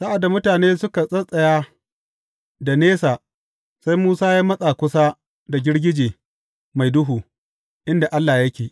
Sa’ad da mutane suka tsattsaya da nesa, sai Musa ya matsa kusa da girgije mai duhu, inda Allah yake.